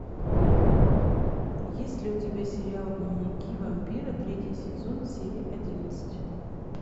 есть ли у тебя сериал дневники вампира третий сезон серия одиннадцать